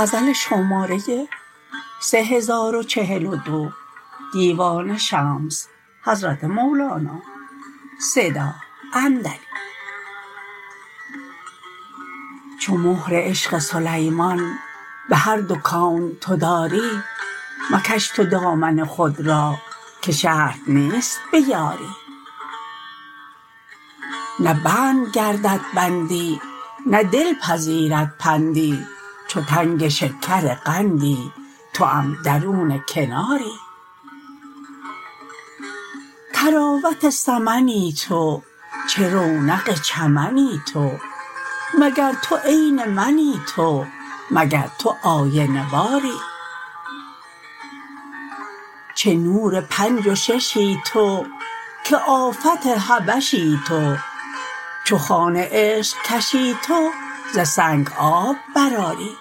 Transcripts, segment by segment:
چو مهر عشق سلیمان به هر دو کون تو داری مکش تو دامن خود را که شرط نیست بیاری نه بند گردد بندی نه دل پذیرد پندی چو تنگ شکرقندی توام درون کناری طراوت سمنی تو چه رونق چمنی تو مگر تو عین منی تو مگر تو آینه واری چه نور پنج و ششی تو که آفت حبشی تو چو خوان عشق کشی تو ز سنگ آب برآری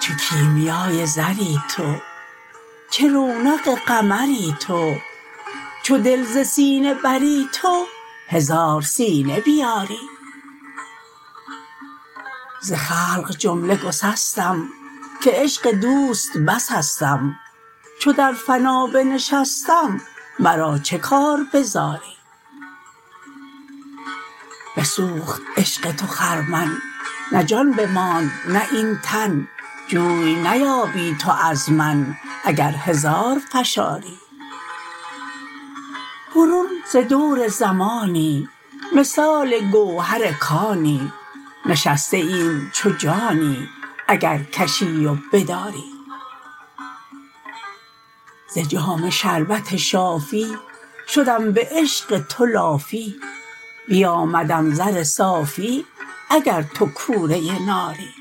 چه کیمیای زری تو چه رونق قمری تو چو دل ز سینه بری تو هزار سینه بیاری ز خلق جمله گسستم که عشق دوست بسستم چو در فنا بنشستم مرا چه کار به زاری بسوخت عشق تو خرمن نه جان بماند نه این تن جوی نیابی تو از من اگر هزار فشاری برون ز دور زمانی مثال گوهر کانی نشسته ایم چو جانی اگر کشی و بداری ز جام شربت شافی شدم به عشق تو لافی بیامدم زر صافی اگر تو کوره ناری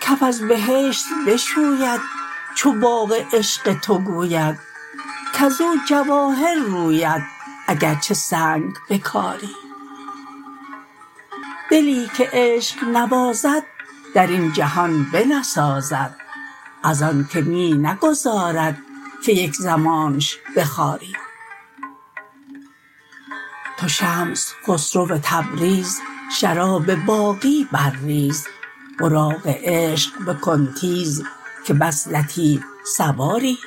کف از بهشت بشوید چو باغ عشق تو گوید کز او جواهر روید اگر چه سنگ بکاری دلی که عشق نوازد در این جهان بنسازد ازانک می نگذارد که یک زمانش بخاری تو شمس خسرو تبریز شراب باقی برریز براق عشق بکن تیز که بس لطیف سواری